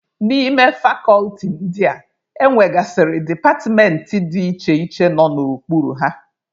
N'ime fakọlti ndị a, e nwegasịrị departmentị dị iche iche nọ n'okpuru ha.